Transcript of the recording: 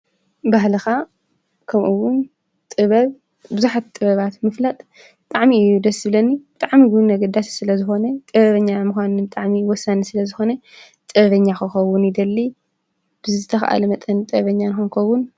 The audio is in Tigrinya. ባህልኻ ከምኡውን ጥበብ ብዙሓት ጥበባት ምፍላጥ ብጣዕሚ እዩ ደስ ዝብለኒ ብጣዕሚ ኣገዳሲ ስለዝኾነ ጥበበኛ ምዃን ብጣዕሚ ወሳኒ ስለዝኾነ ጥበበኛ ክኸውን ይደሊ ብዝተኽኣለ መጠን ጥበበኛ ክንከውን ።